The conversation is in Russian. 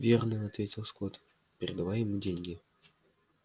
верно ответил скотт передавая ему деньги